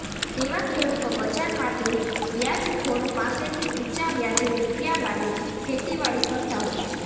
તેવા ખેડૂતો બજારમાંથી વ્યાજખોરો પાસેથી ઉચા વ્યાજે રૃપિયા લાવી ખેતીવાડી કરતા હોય છે